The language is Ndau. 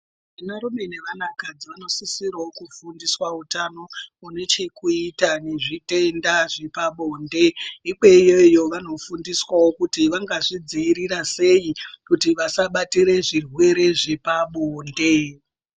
Varume nevanakadzi vanosisira kufundiswa utano unechekuita nezvitenda zvepabonde nekweyo iyoyo vanofundiswawo sei kuti vasabatira zvirwere zvepabonde.